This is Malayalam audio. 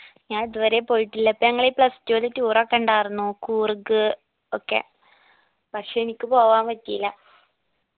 ഞാ ഇത് വരെ പോയിട്ടില്ല പ്പോ ഞങ്ങളീ plus two ൽ tour ഒക്കെ ഇണ്ടാർന്നു കൂർഗ് ഒക്കെ പക്ഷെ എനിക്ക് പോവാൻ പറ്റിയില്ല